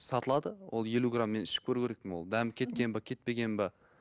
сатылады ол елу грамм мен ішіп көру керекпін ол дәмі кеткен бе кетпеген бе